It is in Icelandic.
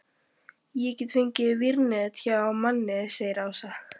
Ég get fengið vírnet hjá manni segir Ása.